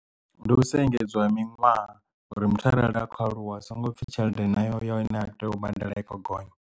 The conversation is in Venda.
Ndi u sa engedzwa ha miṅwaha uri muthu arali a kho aluwa hu songo pfhi tshelede nayo yo ine a tea u badela i kho gonya.